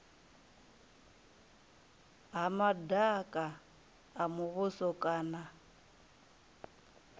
ha madaka a muvhuso kana